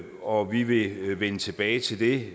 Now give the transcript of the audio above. og vi vi vil vende tilbage til det